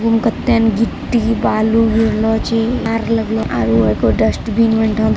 आगु मे कते ने गिट्टी बालू गिरलो छै एगो कार लगलो छै आरू एगो डस्टबिन --